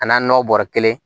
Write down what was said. A n'a n'o bɔrɔ kelen